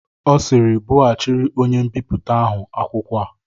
Ọ sịịrị, bughachịrị onye mbipụta ahụ akwụkwọ a!